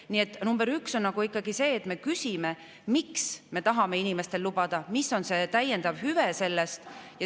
Nii et number üks on ikkagi see, et me küsime, miks me tahame inimestele seda lubada, mis on see sellest saadav täiendav hüve.